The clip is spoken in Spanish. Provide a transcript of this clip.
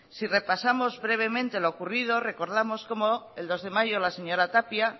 si repasamos brevemente lo ocurrido recordamos cómo el dos de mayo la señora tapia